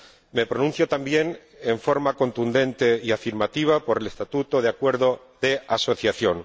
Me pronuncio también, de forma contundente y afirmativa, a favor del estatuto de acuerdo de asociación.